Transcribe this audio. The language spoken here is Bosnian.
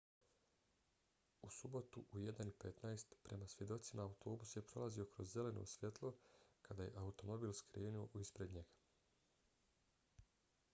u subotu u 01:15 prema svjedocima autobus je prolazio kroz zeleno svjetlo kada je automobil skrenuo ispred njega